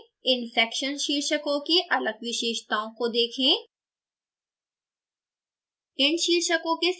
pdf file में इन section शीर्षकों की अलग विशेषताओं को देखें